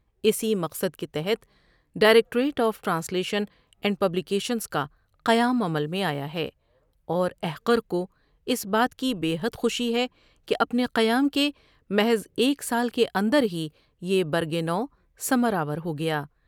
اسی مقصد کے تحت directorate of translation and publications کا قیام عمل میں آیا اورا حقر کو اس بات کی بہ حد خوشی ہے کہ اپنے قیام کے محض ایک سال کے اندر ہی یہ برگِ نو، ثمرآور ہو گیا ۔